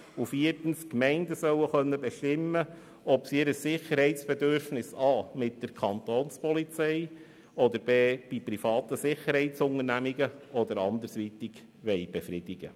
Viertens: Die Gemeinden sollen bestimmen können, ob sie ihr Sicherheitsbedürfnis a) mit der Kapo oder b) mit privaten Sicherheitsunternehmen oder anderweitig befriedigen.